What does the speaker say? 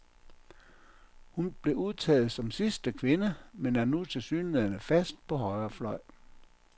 Hun blev udtaget som sidste kvinde, men er nu tilsyneladende fast på højre fløj.